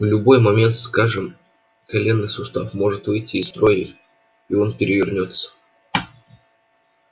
в любой момент скажем коленный сустав может выйти из строя и он перевернётся